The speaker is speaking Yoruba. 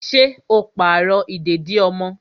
Ṣé o n pàrọ̀ ìdèdí ọmọ?